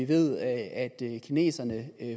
ved at kineserne